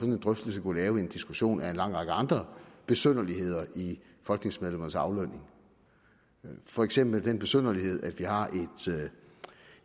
en drøftelse kunne have en diskussion om en lang række andre besynderligheder i folketingsmedlemmernes aflønning for eksempel den besynderlighed at vi har